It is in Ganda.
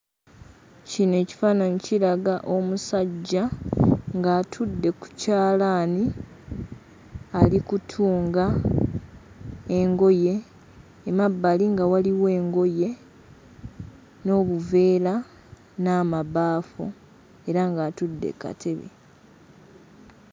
Kino ekifaananyi kiraga omusajja ng'atudde ku kyalaani ali kutunga engoye; emabbali nga waliwo engoye n'obuveera n'amabaafu era ng'atudde ku katebe.